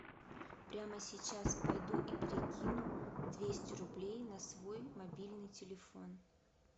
прямо сейчас пойду и перекину двести рублей на свой мобильный телефон